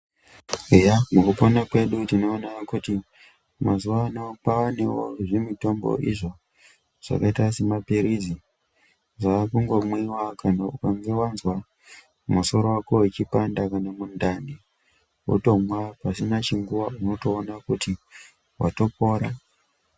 Eya mukupona kwedu tinoona kuti mazuwa ano kwanewo zvimutombo izvo zvakaita semapirizi zvakungomwiwa kana ukange wazwa musoro wako uchipanda kana mundani wotomwa pasina chinguwa unotoona kuti watopora.